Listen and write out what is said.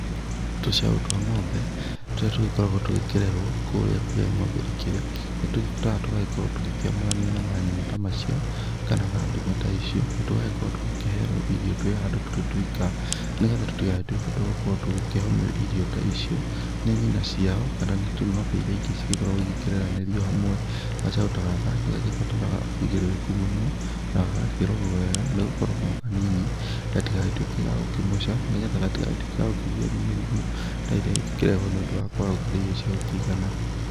Tũcaũ twa ng'ombe tũrĩa tũgĩkoragwo tũgĩkĩrerwo kũrĩa kũrĩa ng'ombe ikĩrĩ, nĩ tũgĩbataraga gũkorwo tũgĩkĩamũranio na manyina ta macio kana na ndume ta icio, na tũgagĩkorwo tũgĩkĩherwo irio twĩ handũ tũrĩ twika, nĩgetha tũtigagĩtuĩke twa gũkorwo tũgĩkĩhomio irio ta icio, nĩ nyina ciao kana nĩ ng'ombe iria ingĩ cigĩkoragwo igĩkĩreranĩrio hamwe. Gacaũ ta gaka nĩ gagĩbataraga ũigĩrĩrĩku mũno na gagakĩrorwo wega nĩ gũkorwo no kanini gatigagĩtuĩke ga gũkĩmoca, nĩgetha gatigagĩtuĩke ga kũgio nĩ mĩrimũ ta ĩrĩa ĩngĩkĩrehwo nĩ ũndũ wa kwaga gũkĩrĩa irio cia gũkĩigana.